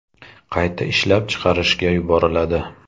qayta ishlab chiqarishga yuboriladi.